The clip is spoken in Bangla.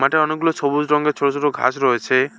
মাঠে অনেকগুলো সবুজ রঙের ছোট ছোট ঘাস রয়েছে।